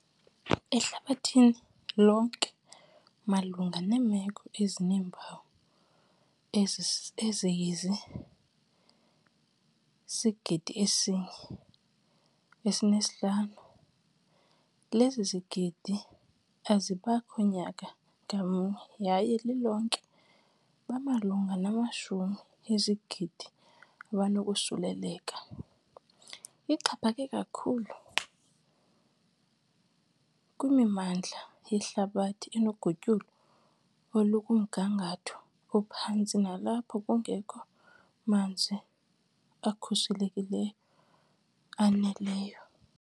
Ehlabathini lonke malunga neemeko ezineempawu ezi eziyi-1.5 lezigidi zibakho nyaka ngamnye yaye lilonke bamalunga namashumi ezigidi abanokosuleleka. Ixhaphake kakhulu kwimimandla yehlabathi enogutyulo olukumgangatho ophantsi nalapho kungekho manzi akhuselekileyo aneleyo.